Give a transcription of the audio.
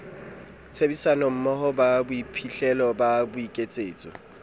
tshebedisanommoho ba bophihlelo ba boiketsetso